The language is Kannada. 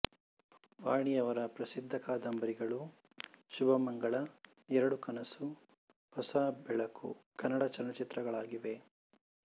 ವಾಣಿಯವರ ಪ್ರಸಿದ್ಧ ಕಾದಂಬರಿಗಳು ಶುಭಮಂಗಳ ಎರಡು ಕನಸು ಹೊಸಬೆಳಕು ಕನ್ನಡ ಚಲನಚಿತ್ರಗಳಾಗಿವೆ